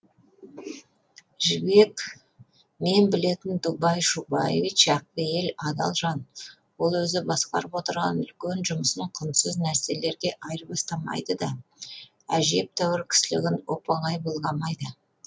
жібек мен білетін дубай шубаевич ақпейіл адал жан ол өзі басқарып отырған үлкен жұмысын құнсыз нәрселерге айырбастамайды да әжептәуір кісілігін оп оңай былғамайды